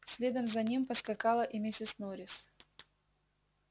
следом за ним поскакала и миссис норрис